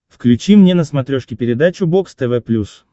включи мне на смотрешке передачу бокс тв плюс